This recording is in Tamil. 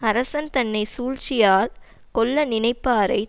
அரசன் தன்னை சூழ்ச்சியா கொல்ல நினைப்பாரை